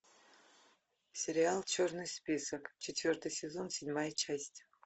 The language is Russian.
сериал черный список четвертый сезон седьмая часть